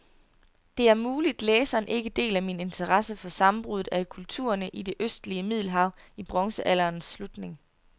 Det er muligt, læseren ikke deler min interesse for sammenbruddet af kulturerne i det østlige middelhav i bronzealderens slutning.